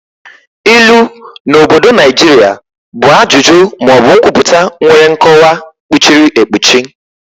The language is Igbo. Ilu na obodo Naijiria bụ ajụjụ ma ọ bụ nkwupụta nwere nkọwa kpuchiri ekpuchi.